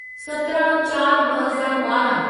सतिरहाँ चार ॿ हज़ार ॿारहं